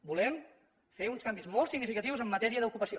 volem fer uns canvis molt significatius en matèria d’ocupació